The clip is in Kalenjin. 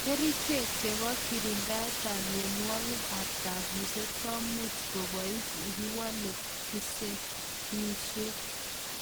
Kerichek chepo kirindaet ap mionwogik ap kabuset komuch kobais yekiwalee ensaimisiek .